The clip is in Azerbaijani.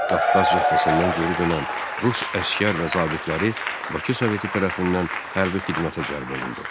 Qafqaz Cəbhəsindən geri dönən rus əsgər və zabitləri Bakı Soveti tərəfindən hərbi xidmətə cəlb olundu.